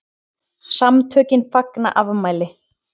SAMTÖKIN FAGNA AFMÆLI